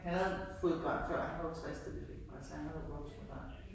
Havde havde fået børn før, han var over 60 da de fik mig, så han havde voksne børn